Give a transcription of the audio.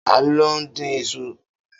Ta ló ń dín isu?